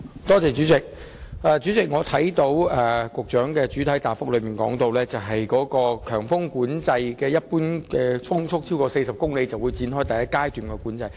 主席，局長在主體答覆中提到，當每小時平均風速超過40公里，便會展開第一階段的強風交通管制。